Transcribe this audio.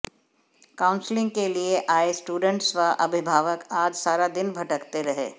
counselling के लिए आए स्टूडेंट्स व अभिभावक आज सारा दिन भटकते रहे